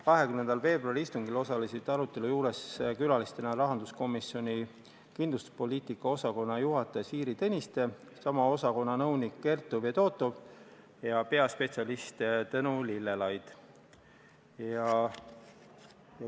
20. veebruari istungil osalesid arutelul külalistena Rahandusministeeriumi kindlustuspoliitika osakonna juhataja Siiri Tõniste, sama osakonna nõunik Kertu Fedotov ja peaspetsialist Tõnu Lillelaid.